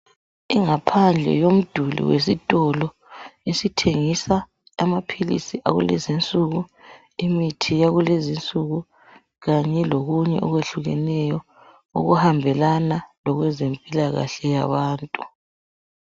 ingaphandle yemiduli yesitolo esithingisa imithi yalezinsuku imithi yakulezi insuku kanye lokunye okwehlukeneyo okuhambelana lokwezimpilakahle kwabantu